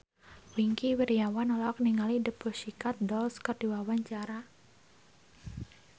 Wingky Wiryawan olohok ningali The Pussycat Dolls keur diwawancara